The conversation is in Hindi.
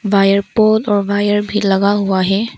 वायर पोल और वायर भी लगा हुआ है।